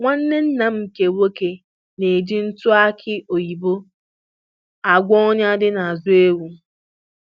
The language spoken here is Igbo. Nwanne nna m nke nwoke na-eji ntụ aki oyibo agwọ ọnya dị n'azụ ewu.